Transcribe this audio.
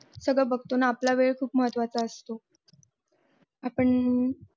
सगळ बघतो न आपला वेळ खूप महत्वाचा असतो आपण